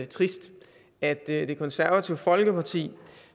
trist at det konservative folkeparti